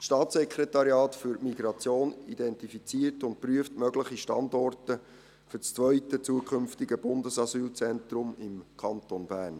Das Staatssekretariat für Migration (SEM) identifiziert und prüft mögliche Standorte für das zweite zukünftige Bundesasylzentrum im Kanton Bern.